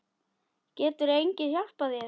Getur enginn hjálpað þér?